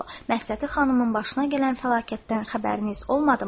Məsləti xanımın başına gələn fəlakətdən xəbəriniz olmadımı?